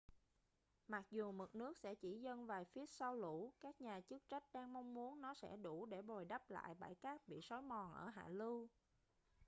mặc dù mực nước sẽ chỉ dâng vài feet sau lũ các nhà chức trách đang mong muốn nó sẽ đủ để bồi đắp lại bãi cát bị sói mòn ở hạ lưu